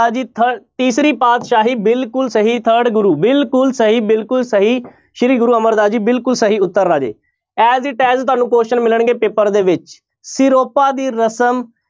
ਤੀਸਰੀ ਪਾਤਿਸ਼ਾਹੀ ਬਿਲਕੁਲ ਸਹੀ third ਗੁਰੂ ਬਿਲਕੁਲ ਸਹੀ ਬਿਲਕੁਲ ਸਹੀ ਸ੍ਰੀ ਗੁਰੂ ਅਮਰਦਾਸ ਜੀ ਬਿਲਕੁਲ ਸਹੀ ਉੱਤਰ ਰਾਜੇ as it as ਤੁਹਾਨੂੰ question ਮਿਲਣਗੇ ਪੇਪਰ ਦੇ ਵਿੱਚ ਸਿਰੋਪਾ ਦੀ ਰਸਮ